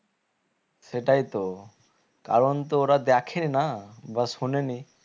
সেটাই তো কারণ তো ওরা দেখে না বা শোনে নি